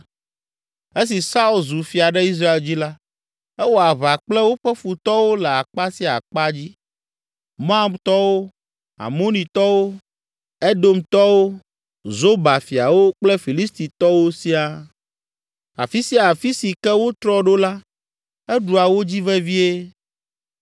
Esi Saul zu fia ɖe Israel dzi la, ewɔ aʋa kple woƒe futɔwo le akpa sia akpa dzi: Moabtɔwo, Amonitɔwo, Edomtɔwo, Zoba fiawo kple Filistitɔwo siaa. Afi sia afi si ke wotrɔ ɖo la, eɖua wo dzi vevie.